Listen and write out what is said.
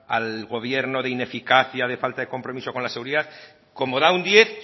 al gobierno de ineficacia de falta de compromiso con la seguridad como da un diez